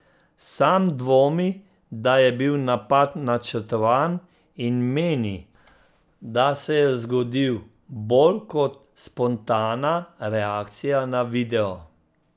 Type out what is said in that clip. Sam dvomi, da je bil napad načrtovan in meni, da se je zgodil bolj kot spontana reakcija na video.